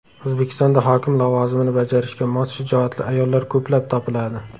O‘zbekistonda hokim lavozimini bajarishga mos shijoatli ayollar ko‘plab topiladi.